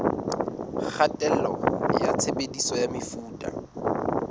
kgatello ya tshebediso ya mefuta